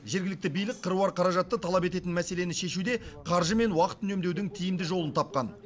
жергілікті билік қыруар қаражатты талап ететін мәселені шешуде қаржы мен уақыт үнемдеудің тиімді жолын тапқан